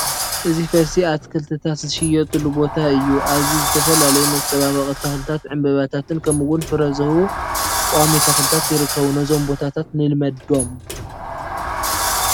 እዚ ፈልሲ ኣትክልትታት ዝሽየጡሉ ቦታ እዩ፡፡ ኣብዚ ዝተፈላለዩ መፀባበቒ ተኽልታት ዕምበባታት ከምኡውን ፍረ ዝህቡ ቋሚ ተኽልታት ይርከቡ፡፡ ነዞም ቦታታት ንልመዶም፡፡